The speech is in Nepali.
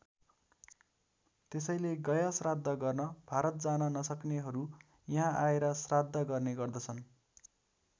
त्यसैले गयाश्राद्ध गर्न भारत जान नसक्नेहरू यहाँ आएर श्राद्ध गर्ने गर्दछन्।